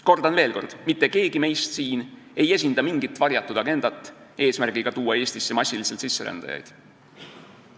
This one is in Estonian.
Kordan veel kord: mitte keegi meist siin ei esinda mingit varjatud agendat eesmärgiga tuua Eestisse massiliselt sisserändajaid.